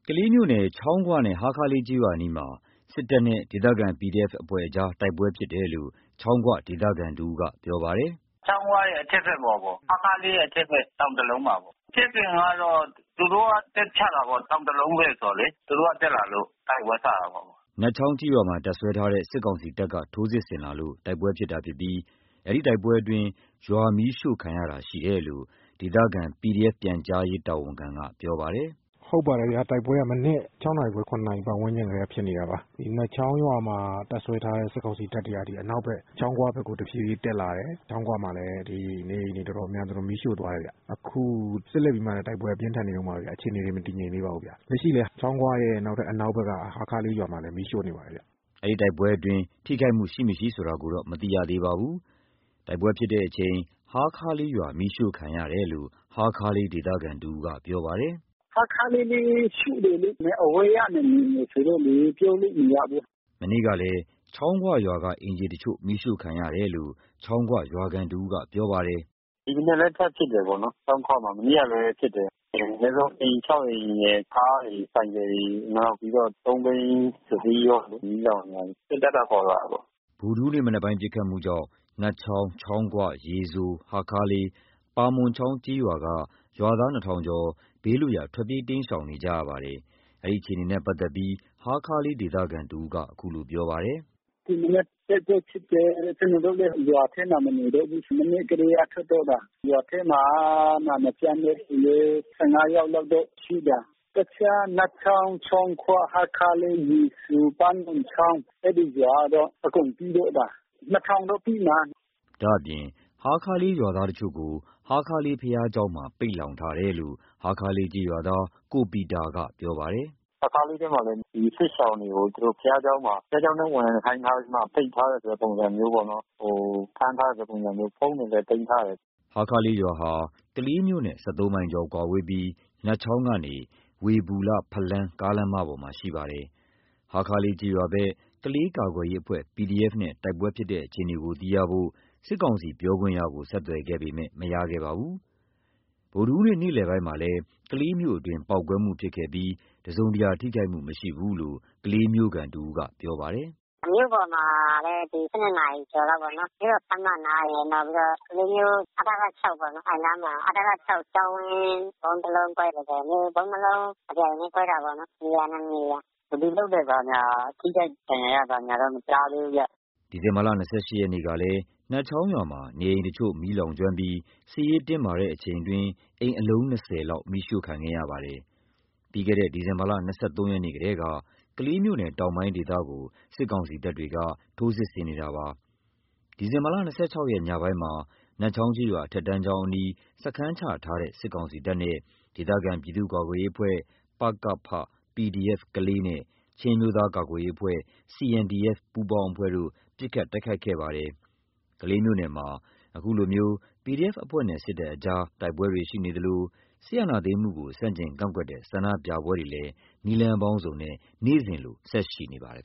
ကလေးမြို့နယ် ချောင်းခွနဲ့ ဟားခါးလေးကျေးရွာနားမှာ စစ်ကောင်စီတပ်နဲ့ ဒေသခံ PDF အဖွဲ့တို့ တိုက်ပွဲဖြစ်ပွါးနေတယ်လို့ ချောင်းခွဒေသခံတဦးက ပြောပါတယ်။ “ချောင်းခွရဲ့အထက်ဘက် ဟားခါးလေးရဲ့အထက်ဘက်တောင်တလုံးမှာ။ ဖြစ်စဉ်ကတော့ သူတို့က တက်ချတာပေါ့။ တောင်တလုံးဘက်ဆိုတာလေ။ သူတို့ကတက်လာလို့တိုက်ပွဲစတာပေါ့။” နတ်ချောင်းကျေးရွာမှာတပ်စွဲထားတဲ့ စစ်ကောင်စီတပ်ကနေထိုးစစ်ဆင်လာလို့ တိုက်ပွဲဖြစ်ပွါးတာဖြစ်ပြီး ဒီတိုက်ပွဲအတွင်း ရွာမီးရှို့ခံရတာရှိနေတယ်လို့ ဒေသခံ PDF ပြန်ကြားရေးတာဝန်ခံကပြောပါတယ်။ “ဟုတ်ပါတယ်ဗျာ။ တိုက်ပွဲကမနက် ၆ နာရီခွဲ ၇ နာရီပါတ်ဝန်းကျင်ကတည်းကဖြစ်နေတာပါ။ နတ်ချောင်းရွာမှာတပ်စွဲထားတဲ့ စစ်ကောင်စီတပ်တွေကနေအနောက်ဘက် ချောင်းခွဘက်ကို တဖြေးဖြေးတက်လာတယ်။ ချောင်းခွမှာလည်း နေအိမ်တွေ တော်တော်များများမီးရှို့သွားတယ်။ အခုဆက်လက်ပြီးမှလာ်ဒ တိုက်ပွဲအပြင်းထန်နေတုန်းပါပဲ။ အခြေအနေမငြိမ်သေးပါဘူး။ လက်ရှိလည်း ချောင်းခွရဲ့အနောက်ဘက်က ဟားခါးလေးရွာမှာလည်း မီးရှို့နေတယ်ဗျ။” တိုက်ပွဲဖြစ်ပွါးမှုဖြစ်စဉ်တွေမှာ ထိခိုက်မှုတော့မသိရသေးပါဘူး။ တိုက်ပွဲဖြစ်ပွါးစဉ် ဟားခါးလေးရွာ မီးရှို့ခံရတယ်လို့ ဟားခါးလေးဒေသခံတဦးကပြောပါတယ်။ “ဟားခါးလေးလည်း ရှို့တယ်လေ။ အဝေးကနေမြင်တယ်ဆိုတော့လေ ပြောလို့မရဘူး။” မနေ့ကလည်း ချောင်းခွရွာကအိမ်ခြေတချို့မီးရှို့ခံရတယ်လို့ ချောင်းခွရွာခံတဦးကပြောပါတယ်။ “ဒီမနက်လည်း ထပ်ဖြစ်တယ်။ ချောင်းခွဘက်မှာပေါ့နော်။ မနေ့ကလည်းဖြစ်တယ်။ အနည်းဆုံးအိမ် အိမ်ရယ်၊ ကားတွေ၊ ဆိုင်ကယ်တွေ နောက်ပြီးတော့ သုံးဘီးတစီး မီးလောင်တယ်။ စစ်တပ်ကပေါ့ဗျ အကို။” ဒီမနက်ပစ်ခတ်မှုကြောင့်နတ်ချောင်း၊ ချောင်းခွ၊ ရေစို၊ ဟားခါးလေး၊ ပါမွန်ချောင်းကျေးရွာက ရွာသား ကျော် ဘေးလွတ်ရာ ထွက်ပြေးတိမ်းရှောင်ကြပါတယ်။ ဒီအခြေအနေကို ဟားခါးလေးဒေသခံတဦးက အခုလိုပြောပါတယ်။ “ဒီမနက်တိုက်ပွဲဖြစ်တယ်။ ကျနော်တို့လည်း ရွာထဲမှာမနေတော့ဘူး။ မနက်ကတည်းကထွက်ခဲ့တာ။ ရွာထဲမှာမပြောင်းတဲ့သူလည်း ယောက်လောက်ပဲ ရှိတာ။ တခြားနတ်ချောင်း၊ ချောင်းခွ၊ ဟားခါးလေး၊ ရေစို၊ ပါမွန်ချောင်း အဲဒီရွာကတော့အကုန်ပြေးတော့တာ။ လောက်တော့ရှိမှာ။” ဒါ့အပြင် ဟားခါးလေးရွာသားတချို့ကို ဟားခါးလေးဘုရားကျောင်းမှာ ပိတ်လှောင်ထားတယ်လို့ ဟားခါးလေး ကျေးရွာသား ကိုပီတာကပြောပါတယ်။ “ဟားခါးလေးဘက်မှာလည်း ဒီစစ်ရှောင်တွေကို ဘုရားကျောင်းထဲဝင်ခိုင်းထားပြီးမှ ပိတ်ထားတဲ့ ပုံစံမျိုးပေါ့နော်။ ဟိုဖမ်းထားတဲ့ပုံစံမျိုး။ ဖုန်းတွေလည်း ပိတ်ထားတယ်။” ဟားခါးလေးရွာဟာ ကလေးမြို့နဲ့ မိုင်ကျော်ကွာဝေးပြီး နတ်ချောင်းကနေ ဝေဘူလ-ဖလမ်းကားလမ်းမပေါ်မှာ ရှိနေပါတယ်။ ဟားခါးလေးကျေးရွာဘက် ကလေးကာကွယ်ရေးအဖွဲ့ PDF နဲ့ တိုက်ပွဲဖြစ်ပွါးမှုအခြေအနေကိုသိရှိဖို့ စစ်ကောင်စီ ပြောခွင့်ရကိုဆက်သွယ်ခဲ့ပေမယ့် မရခဲ့ပါဘူး။ ဒီနေ့ နေ့လယ်ပိုင်းမှာလည်း ကလေးမြို့အတွင်းပေါက်ကွဲမှုဖြစ်ပွါးခဲ့ပြီး တစုံတရာထိခိုက်မှုမရှိဘူးလို့ ကလေးမြို့ခံတဦးကပြောပါတယ်။ “မြို့ပေါ်မှာလည်း ဒီ နာရီကျော်လောက်မှာပေါ့နော်။ မြို့တော်ခန်းမအနားရယ်။ နောက်ပြီးတော့ကလေးမြို့ အထက ပေါ့နော်၊ အဲဒီအနားမှာ အထက ကျောင်းဝင်း ဗုံးတလုံးကွဲတယ်။ ဒီလို ဗုံးနှစ်လုံးတပြိုင်တည်းခွဲတာပေါ့နော်။ ဘယ်သူ လုပ်တယ် ဘာညာ ထိခိုက်ဒဏ်ရာရဘာညာတော့ မကြားသေးဘူးဗျ။” ဒီဇင်ဘာ ရက်နေ့ကလည်း နတ်ချောင်းရွာမှာ နေအိမ်တချို့မီးလောင်ကျွမ်းခဲ့ပြီး စစ်ရေးတင်းမာနေစဉ် အတွင်းအိမ်အလုံး လောက် မီးရှို့ခံခဲ့ရပါတယ်။ ပြီးခဲ့တဲ့ ဒီဇင်ဘာလ ၂၃ ရက်နေ့ကတည်းက ကလေးမြို့နယ်တောင်ပိုင်းဒေသကို စစ်ကောင်စီတပ်တွေကနေ ထိုးစစ်ဆင်မှုပြုလုပ်ခဲ့တာပါ။ ဒီဇင်ဘာ ရက် ညပိုင်းမှာ နတ်ချောင်းကျေးရွာအထက်တန်းကျောင်းနားမှာ စခန်းချထားတဲ့စစ်ကောင်စီတပ်နဲ့ ဒေသခံပြည်သူ့ကာကွယ်ရေးအဖွဲ့ PDF ကလေးနဲ့ ချင်းအမျိုးသားကာကွယ်ရေးအဖွဲ့ CNDF ပူးပေါင်းအဖွဲ့တို့ ပစ်ခတ်တိုက်ခိုက်မှုဖြစ်ပွါးခဲ့ပါတယ်။ ကလေးမြို့နယ်မှာ အခုလို PDF အဖွဲ့နဲ့ စစ်တပ်အကြား တိုက်ပွဲတွေရှိနေသလို စစ်အာဏာသိမ်းမှုကို ဆန့်ကျင်ကန့်ကွက်တဲ့ ဆန္ဒပြပွဲတွေလည်း နည်းလမ်းပေါင်းစုံနဲ့ နေ့စဉ်လို ဆက်ရှိနေပါတယ်